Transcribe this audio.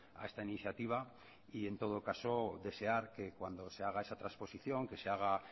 a esta iniciativa y en todo caso desear que cuando se haga esa transposición que se haga